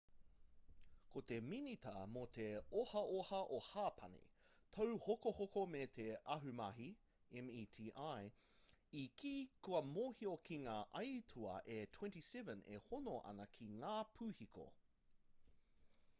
ko te minita mō te ohaoha o hapani tauhokohoko me te ahumahi meti i kī kua mōhio ki ngā aituā e 27 e hono ana ki ngā pūhiko